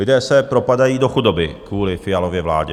Lidé se propadají do chudoby kvůli Fialově vládě.